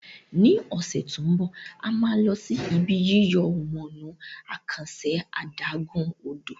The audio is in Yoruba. ní ose to ń bọ a má ló sì Ibi yíyọ̀ wọnú àkànṣe adágún-odò